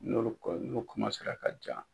N'olu kɔni n'u ka ja.